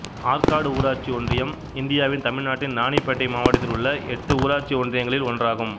ஆற்காடு ஊராட்சி ஒன்றியம் இந்தியாவின் தமிழ்நாட்டின் இராணிப்பேட்டை மாவட்டத்தில் உள்ள எட்டு ஊராட்சி ஒன்றியங்களில் ஒன்றாகும்